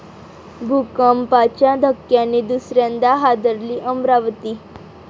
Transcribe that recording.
भूकंपाच्या धक्क्याने दुसऱ्यांदा हादरली अमरावती